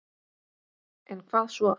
En hvað svo?